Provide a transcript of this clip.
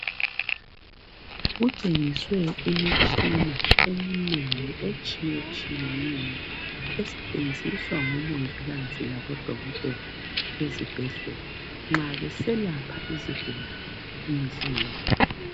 Kutshengiswe imitshina eminengi etshiyetshiyeneyo esetshenziswa ngoMongikazi laboDokotela ezibhedlela nxa beselapha izigulane imihla ngemihla.